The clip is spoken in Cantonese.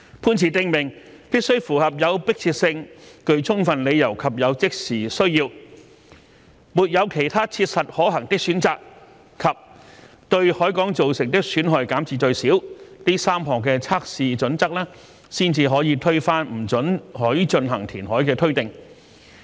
判詞訂明，必須符合"有迫切性、具充分理由及有即時需要"、"沒有其他切實可行的選擇"及"對海港造成的損害減至最少"這3項測試準則，才可推翻不准許進行填海的推定。